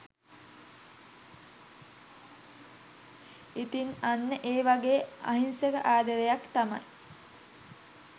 ඉතිං අන්න ඒ වගේ අහිංසක ආදරයක් තමයි